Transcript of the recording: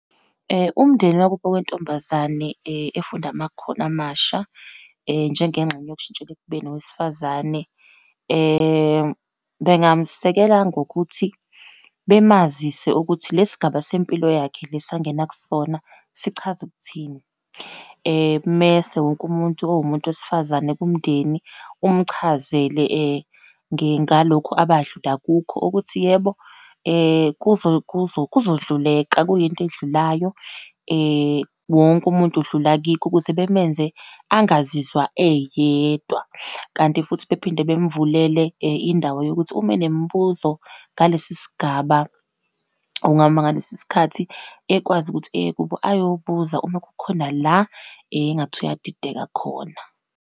Umndeni wakubo wentombazane efunda amakhono amasha njengengxenye yokushintshela ekubeni owesifazane, bengamsekela ngokuthi bemazisa ukuthi lesigaba sempilo yakhe leso angena kusona sichaza ukuthini. Mese wonke umuntu owumuntu wesifazane kumndeni umchazele ngalokho abadlula kukho, ukuthi yebo, kuzo, kuzo, kuzodluleka, kuyinto edlulayo, wonke umuntu udlula kikho, kuze bemenze angazizwa eyedwa. Kanti futhi bephinde bamvulele indawo yokuthi uma enemibuzo ngalesi sigaba ngalesi sikhathi ekwazi ukuthi eyekubo ayobuza uma kukhona la engathi uyadideka khona.